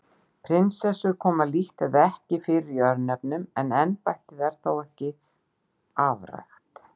Prinsessur koma lítt eða ekki fyrir í örnefnum en embættið er þó ekki alveg afrækt.